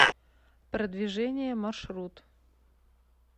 продвижение маршрут